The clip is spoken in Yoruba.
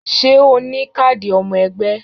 Ṣé o ní káàdì ọmọ ẹgbẹ́